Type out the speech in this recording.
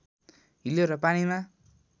हिलो र पानीमा